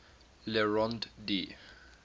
le rond d